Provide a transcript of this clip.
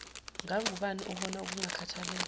ngangubani obona ukungakhathalelwa